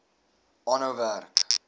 aanhou werk